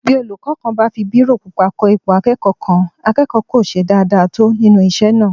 Bí olúkọ́ kan bá fi bírò pupa kọ ipò akẹ́kọ̀ọ́ kan, akẹ́kọ̀ọ́ kò ṣe dáadáa tó nínú isé náà